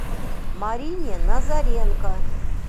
марине назаренко